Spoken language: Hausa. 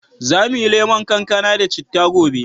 Za mu yi lemon kankana da citta gobe.